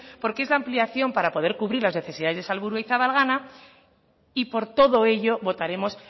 porque es la ampliación para poder cubrir las necesidades de salburu y zabalgana y por todo ello votaremos